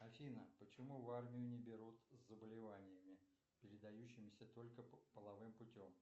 афина почему в армию не берут с заболеваниями передающимися только половым путем